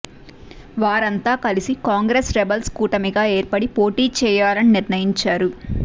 వారంతా కలిసి కాంగ్రెస్ రెబల్స్ కూటమిగా ఏర్పడి పోటీ చేయాలని నిర్ణయించారు